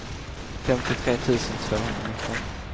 femtiotre tusen tvåhundranitton